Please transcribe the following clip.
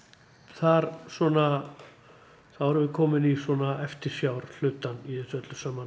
þar svona þá erum við komin í svona eftirsjár hlutann í þessu öllu saman